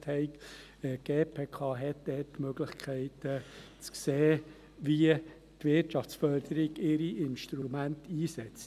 Die GPK hat die Möglichkeit, zu sehen, wie die Wirtschaftsförderung ihre Instrumente einsetzt.